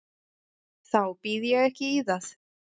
Þá býð ég ekki í það.